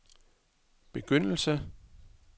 begyndelse